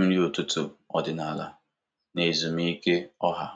nri ụtụtụ ọdịnala na ezumike ọha.